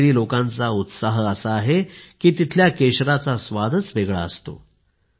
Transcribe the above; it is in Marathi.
काश्मिरी लोकांचा उत्साह असा आहे की तिथल्या केशराचा स्वादच वेगळा असतो